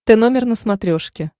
тномер на смотрешке